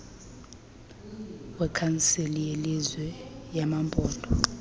wekhansile yelizwe yamaphondo